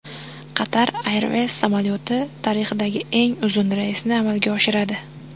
Qatar Airways samolyoti tarixdagi eng uzun reysni amalga oshiradi.